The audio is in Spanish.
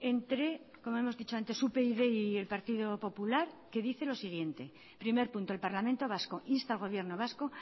entre como hemos dicho antes upyd y el partido popular que dice lo siguiente primer punto el parlamento vasco insta al gobierno vasco